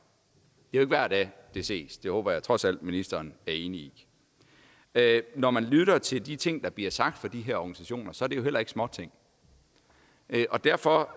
jo ikke hver dag det ses det håber jeg trods alt ministeren er enig i når man lytter til de ting der bliver sagt fra de her organisationers side er det jo heller ikke småting derfor